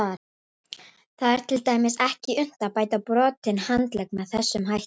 Það er til dæmis ekki unnt að bæta brotinn handlegg með þessum hætti.